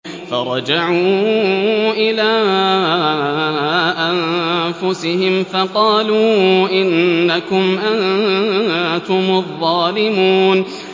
فَرَجَعُوا إِلَىٰ أَنفُسِهِمْ فَقَالُوا إِنَّكُمْ أَنتُمُ الظَّالِمُونَ